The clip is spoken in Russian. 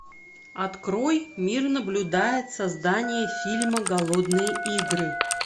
открой мир наблюдает создание фильма голодные игры